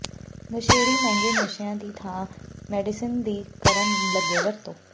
ਨਸ਼ੇੜੀ ਮਹਿੰਗੇ ਨਸ਼ਿਆਂ ਦੀ ਥਾਂ ਮੈਡੀਸਨ ਦੀ ਕਰਨ ਲੱਗੇ ਵਰਤੋਂ